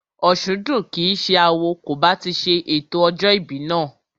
Òsúndùn kìí ṣe awo kò bá ti ṣe ètò ọjọ́ ìbí náà